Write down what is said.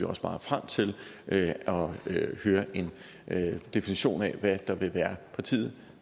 også meget frem til at høre en definition af hvad der vil være partiet